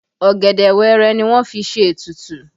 Ọ̀gẹ̀dẹ̀ wẹẹrẹ ni wọ́n fi ṣe ètùtù